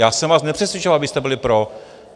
Já jsem vás nepřesvědčoval, abyste byli pro.